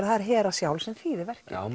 það er Hera sjálf sem þýðir verkið já